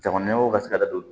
Jamana ɲɛmɔgɔw ka se ka da don